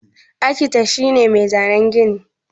Akitet shi ne mai zanan gini.